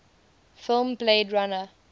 film blade runner